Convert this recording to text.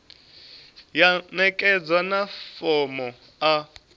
ya ṋekedzwa na fomo a